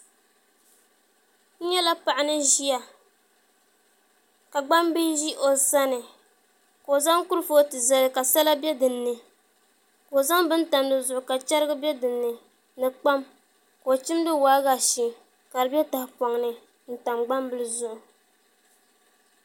N nyɛla paɣa ni ʒiya ka gbambihi ʒi o sani ka o zaŋ kurifooti zali ka sala bɛ dinni ka o zaŋ bin tam dizuɣu ka chɛrigi bɛ dinni ni kpam ka o chimdi waagashɛ ka di bɛ tahapoŋni n tam gbambili zuɣu